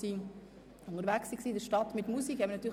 Sie war in der Stadt mit Musik unterwegs.